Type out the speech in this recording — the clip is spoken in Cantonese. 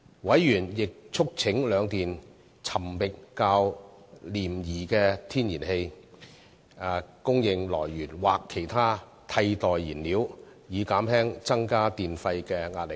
委員亦促請兩電尋覓較廉宜的天然氣供應來源或其他替代燃料，以減輕增加電費的壓力。